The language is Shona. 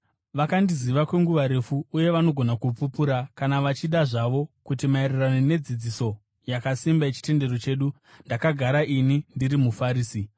Vakandiziva kwenguva refu uye vanogona kupupura, kana vachida zvavo, kuti maererano nedzidziso yakasimba yechitendero chedu, ndakagara ini ndiri muFarisi.